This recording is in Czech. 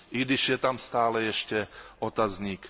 I když je tam stále ještě otazník.